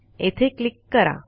येथे क्लिक करा